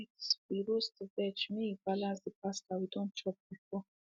tonight we roast veg make e balance the pasta we don chop before